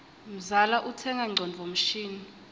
mzala utsenga ngcondvo mshini